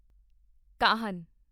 Kahan